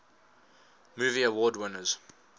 movie award winners